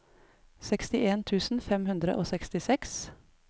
sekstien tusen fem hundre og sekstiseks